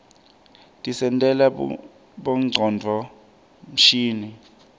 tisentela bongcondvo mshini